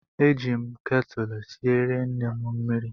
Eji m ketụlụ siere nne m mmiri